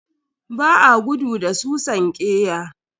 Ba a gudu da susan ƙeya.